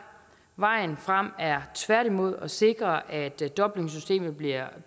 vejen frem er tværtimod at sikre at dublinsystemet bliver